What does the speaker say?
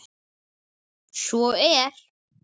Svo er